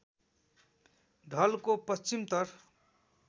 ढलको पश्चिमतर्फ